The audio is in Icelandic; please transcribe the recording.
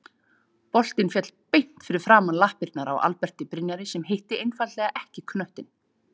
Boltinn féll beint fyrir framan lappirnar á Alberti Brynjari sem hitti einfaldlega ekki knöttinn.